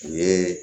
U ye